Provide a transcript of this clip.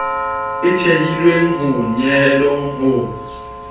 e thehilweng ho nyehelo ho